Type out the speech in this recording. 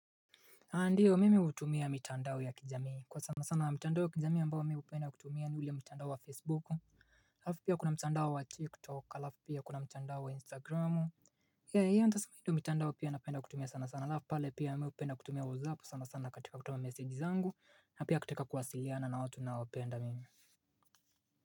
Andiyo mimi utumia mitandao ya kijamii kwa sana sana wa mitandao ya kijamii ambao mimi hupenda kutumia ni ule mtandao wa facebook. Afu pia kuna mchandao wa tiktok alafu pia kuna mchandao wa instagramu ya ya ndasa mido mitandao pia napenda kutumia sana sana alafu pale pia mimi upenda kutumia wazapu sana sana katika kutuma message zangu na pia kutaka kuwasiliana na watu ninaowapenda mimi.